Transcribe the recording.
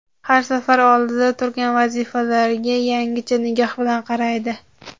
har safar oldida turgan vazifalarga yangicha nigoh bilan qaraydi.